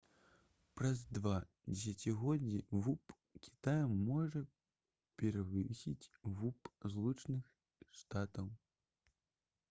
праз два дзесяцігоддзі вуп кітая можа перавысіць вуп злучаных штатаў